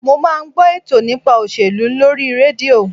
Mo máa ń gbọ́ ètò nípa òṣèlú lórí rédíò